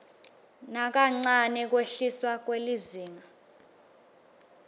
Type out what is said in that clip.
nakancane kwehliswa kwelizinga